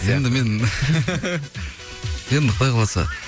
енді мен енді құдай қаласа